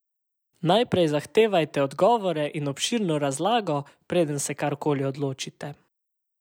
Najprej zahtevajte odgovore in obširno razlago, preden se karkoli odločite.